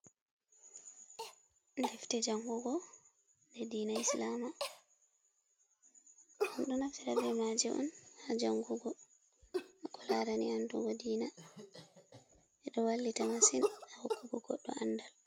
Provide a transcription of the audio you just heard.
Defte jangugo nde diina islama. Ɗo naftira be maje on ha jangugo ko larani andugo diina. Ɓeɗo wallita masin ha hokkugo goɗɗo andal.